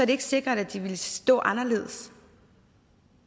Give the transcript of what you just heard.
det ikke sikkert at de ville stå anderledes